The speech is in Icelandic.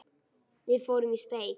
Við fórum í steik.